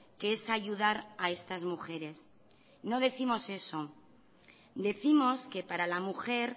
que es ayudar a estas mujeres no décimos eso decimos que para la mujer